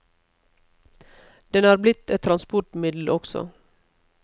Den er blitt et transportmiddel også.